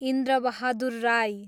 Indrabahadur Rai